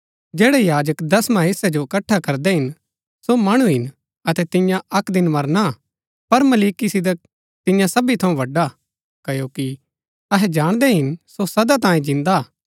जैड़ै याजक दसवां हेस्सै जो इकट्ठा करदै हिन सो मणु हिन अतै तियां अक्क दिन मरना हा पर मलिकिसिदक तियां सबी थऊँ बड़ा हा क्ओकि अहै जाणदै हिन सो सदा तांये जिन्दा हा